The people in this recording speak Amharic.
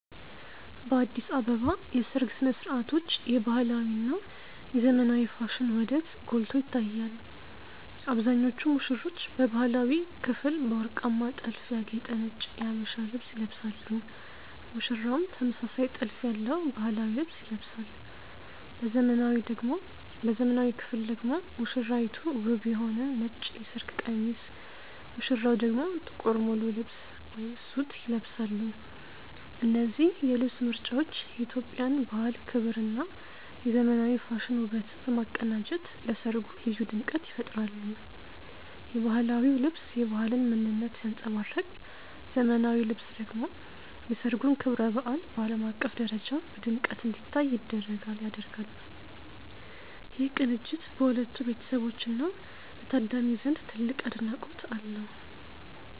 በአዲስ አበባ የሰርግ ሥነ ሥርዓቶች የባህላዊ እና የዘመናዊ ፋሽን ውህደት ጎልቶ ይታያል። አብዛኞቹ ሙሽሮች በባህላዊው ክፍል በወርቃማ ጥልፍ ያጌጠ ነጭ የሀበሻ ልብስ ይለብሳሉ ሙሽራውም ተመሳሳይ ጥልፍ ያለው ባህላዊ ልብስ ይለብሳል። በዘመናዊው ክፍል ደግሞ ሙሽራይቱ ውብ የሆነ ነጭ የሰርግ ቀሚስ ሙሽራው ደግሞ ጥቁር ሙሉ ልብስ (ሱት) ይለብሳሉ። እነዚህ የልብስ ምርጫዎች የኢትዮጵያን ባህል ክብርና የዘመናዊ ፋሽን ውበትን በማቀናጀት ለሠርጉ ልዩ ድምቀት ይፈጥራሉ። የባህላዊው ልብስ የባህልን ምንነት ሲያንጸባርቅ ዘመናዊው ልብስ ደግሞ የሠርጉን ክብረ በዓል በዓለም አቀፍ ደረጃ በድምቀት እንዲታይ ያደርጋል። ይህ ቅንጅት በሁለቱ ቤተሰቦችና በታዳሚው ዘንድ ትልቅ አድናቆት አለው።